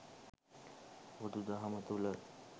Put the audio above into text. බුදු දහම තුළ